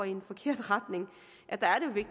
i en forkert retning er